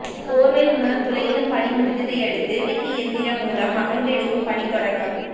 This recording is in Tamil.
போர்வெல் மூலம் துளையிடும் பணி முடிந்ததையடுத்து ரிக் இயந்திரம் மூலம் அகழ்ந்தெடுக்கும் பணி தொடக்கம்